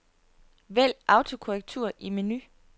Vælg autokorrektur i menu.